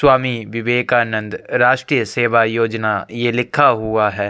स्वामी विवेकानन्द राष्ट्रीय सेवा योजना ये लिखा हुआ है।